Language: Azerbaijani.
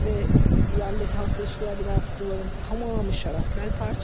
Və yandakı Halkla İlişkilər binası divarın tamamı şarapnel parçası.